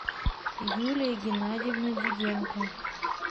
юлия геннадьевна диденко